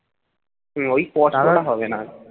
হম ওই কষ্টটা হবে না